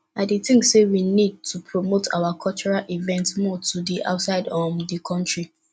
i dey think say we need to promote our cultural events more to di outside um di country